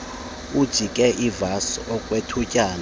uyiyeke ivasi okwethutyana